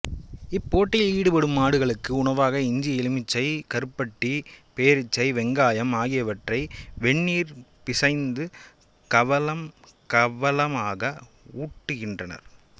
இப்போட்டியில் ஈடுபடும் மாடுகளுக்கு உணவாக இஞ்சி எலுமிச்சை கருப்பட்டி பேரீச்சை வெங்காயம் ஆகியவற்றை வெந்நீரிற் பிசைந்து கவளம் கவளமாக ஊட்டுகின்றனர்